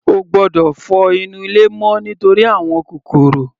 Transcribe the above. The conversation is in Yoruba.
Ó gbọ́dọ̀ fọ inú ilé mọ́ nítorí àwọn kòkòrò.